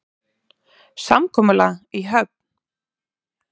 Samkomulag í höfn